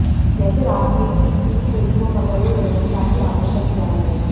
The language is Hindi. जैसे राजनीति कितनी ही बुरी हो मगर वो व्यवस्था की आवश्यक बुराई है